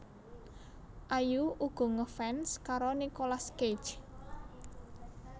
Ayu uga ngefans karo Nicolas Cage